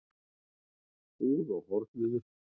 Búð á horninu?